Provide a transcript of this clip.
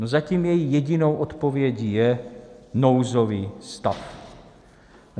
No, zatím její jedinou odpovědí je nouzový stav.